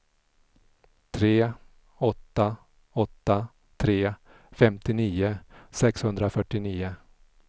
tre åtta åtta tre femtionio sexhundrafyrtionio